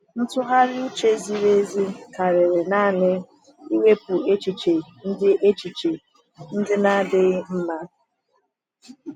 Ntụgharị uche ziri ezi karịrị naanị iwepụ echiche ndị echiche ndị na-adịghị mma.